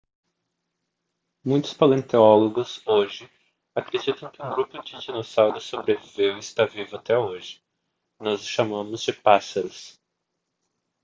muitos paleontólogos hoje acreditam que um grupo de dinossauros sobreviveu e está vivo até hoje nós os chamamos de pássaros